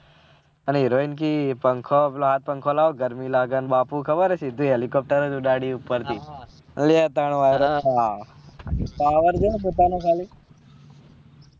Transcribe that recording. અને heroine કેહ પંખો પેલા હાથ પંખો લઉં ગરમી લાગે અને બાબુ ખબર હે સિદ્ધો helicopter એ ઉડાડી ઉપર થી power જો પોતાનો ખાલી